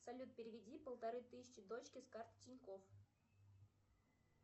салют переведи полторы тысячи дочке с карты тинькофф